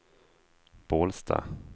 Bålsta